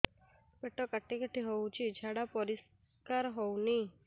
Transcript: ପେଟ କାଟି କାଟି ହଉଚି ଝାଡା ପରିସ୍କାର ହଉନି